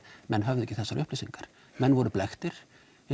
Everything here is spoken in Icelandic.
menn höfðu ekki þessar upplýsingar menn voru blekktir